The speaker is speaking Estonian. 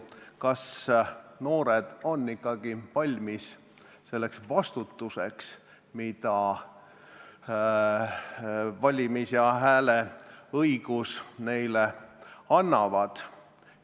Kas noored tõesti on valmis selleks vastutuseks, mille valimis- ja hääleõigus neile annab?